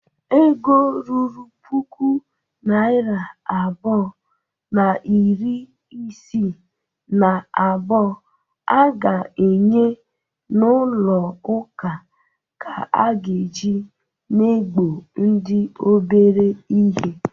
Ego ruru puku naịra abụọ na iri isii na abụọ a ga-enye n'ụlọụka ka a ga-eji na-egbo ndị obere ihe.